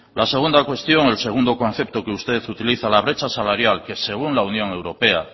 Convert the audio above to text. la segunda cuestión o el segundo concepto que usted utiliza la brecha salarial que según la unión europea